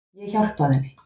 Ég hjálpaði henni.